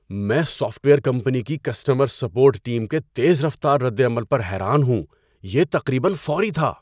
میں software company کی customer support team کے تیز رفتار ردعمل پر حیران ہوں۔ یہ تقریبا فوری تھا!